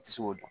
I ti se k'o dɔn